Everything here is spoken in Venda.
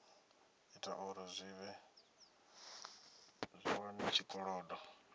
ita uri zwi wane tshikolodo